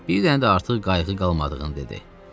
Bir dənə də artıq qayığı qalmadığını dedi.